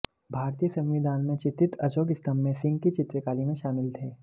भारतीय संविधान में चित्रित अशोक स्तंभ में सिंह की चित्रकारी में शामिल थे